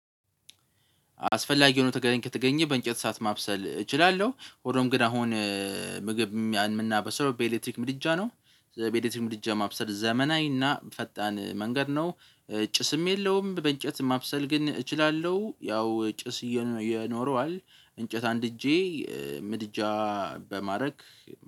አስፈላጊ ሆኖ ከተገኘ በእንጨት እሳት ማብሰል እችላለሁ ሆኖም ግን አሁን ምግብ የምናበስለው በኤሌክትሪክ ምድጃ ነው። በኤሌክትሪክ ምድጃ ማብሰል ዘመናዊና ፈጣን መንገድ ነው። ጭስም የለውም። በእንጨት ማብሰል ግን እችላለሁ ያው ጭስ ይኖረዋል። እንጨት አንድጄ በምድጃ በማድረግ